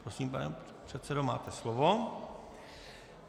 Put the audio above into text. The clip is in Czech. Prosím, pane předsedo, máte slovo.